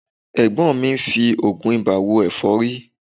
Ẹ̀gbọ́n mi ń fi oògùn ibà wo ẹ̀fọ́rí